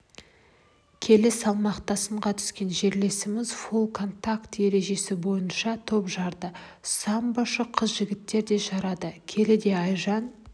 келі салмақта сынға түскен жерлесіміз фулл-контакт ережесі бойынша топ жарды самбошы қыз-жігіттер де жарады келіде айжан